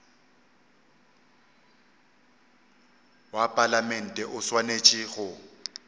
wa palamente o swanetše go